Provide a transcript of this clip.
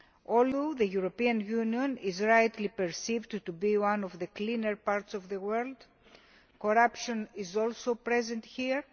Although the European Union is rightly perceived as being one of the cleaner parts of the world, corruption is also present here.